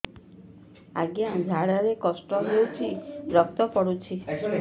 ଅଜ୍ଞା ଝାଡା ରେ କଷ୍ଟ ହଉଚି ରକ୍ତ ପଡୁଛି